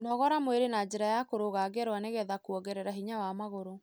Nogora mwĩrĩ na njĩra ya kũrũga ngerwa nĩgetha kuongerera hinya wa magũrũ.